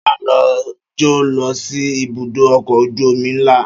Ṣé a lè jọ lọ sí ibùdó ọkọ̀ ojú omi ńlá?